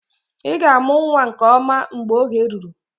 Ị ga-amụ nwa nke ọma mgbe oge ruru